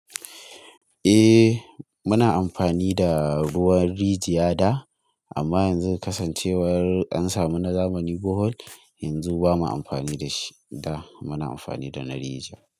Eh muna amfani da ruwan rijiya da amma yanzu kasancewar an samu na zamani bohol yanzu bamu amfani da shi da muna amfani da na rijiya.